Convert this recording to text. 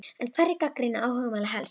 En hverjir gagnrýna áhugamálið helst?